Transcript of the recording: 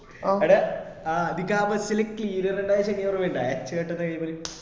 എട നിനക്ക് ആ bus ല് cleaner ഉണ്ടായ ശനി ഓർമ ഇണ്ട കൈമേൽ